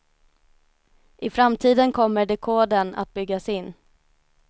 I framtiden kommer dekodern att byggas in.